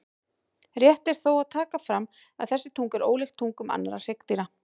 Rétt er þó að taka fram að þessi tunga er ólíkt tungum annarra hryggdýra.